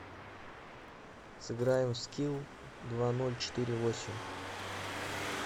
сыграем в скилл два ноль четыре восемь